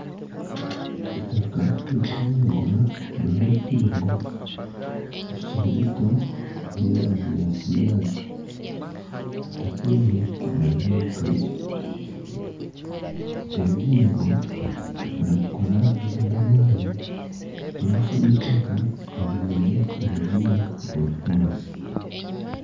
Eitaka rikwiragura ririho ebihingwa bikiri bito by'erangi ya kinyaatsi. Eitaka eri nirireebeka gye. Ebihingwa nibikura biine amaani byafuna eitaka eriine obugimu oburikumara.